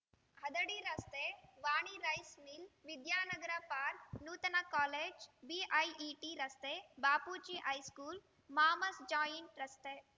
ಹದಡಿ ರಸ್ತೆ Vani rice mill Vidyanagar park Nutana college BIET ರಸ್ತೆ Bapuji high school mama's joint ರಸ್ತೆ